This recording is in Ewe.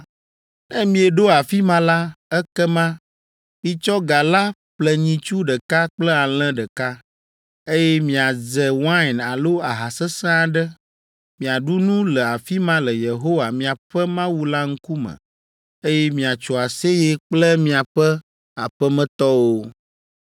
Ne mieɖo afi ma la, ekema mitsɔ ga la ƒle nyitsu ɖeka kple alẽ ɖeka, eye miadze wain alo aha sesẽ aɖe, miaɖu nu le afi ma le Yehowa, miaƒe Mawu la ŋkume, eye miatso aseye kple miaƒe aƒemetɔwo.